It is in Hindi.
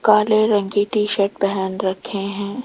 काले रंग की टी_शर्ट पहन रखे हैं।